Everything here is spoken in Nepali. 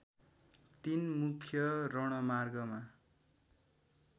तीन मुख्य रणमार्गमा